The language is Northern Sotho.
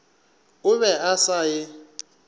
o be a sa e